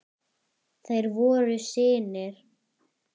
Þeir voru synir